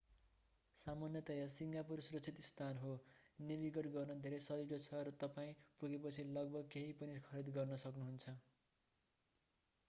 सामान्यतया सिङ्गापुर सुरक्षित स्थान हो नेभिगेट गर्न धेरै सजिलो छ र तपाईं पुगेपछि लगभग केहि पनि खरीद गर्न सक्नु हुन्छ